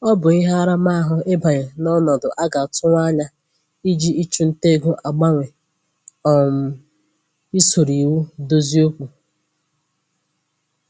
Ọ bụ ihe aramahụ ịbanye n'ọnọdụ a ga-atụwa anya iji ịchụ ntà ego agbanwe um isoro iwu dozie okwu